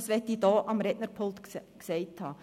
Das will ich hier am Rednerpult gesagt haben.